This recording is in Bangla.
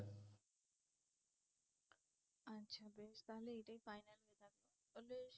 আচ্ছা বেশ তাহলে এটাই final হয়ে গেলো